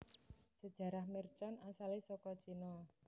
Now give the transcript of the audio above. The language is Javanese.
Sejarah mercon asalé saka Cina